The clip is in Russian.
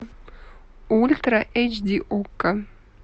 ультра эйч ди окко